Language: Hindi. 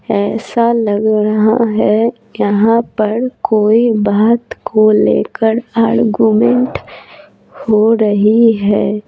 ऐसा लग रहा है यहाँ पर कोई बात को लेकर आर्गुमेंट हो रही है।